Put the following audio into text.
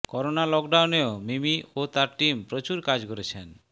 corona লকডাউনেও মিমি ও তার টিম প্রচুর কাজ করেছেন